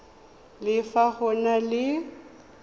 le fa go na le